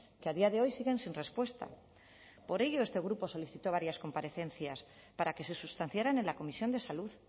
que a día de hoy siguen sin respuesta por ello este grupo solicitó varias comparecencias para que se sustanciaran en la comisión de salud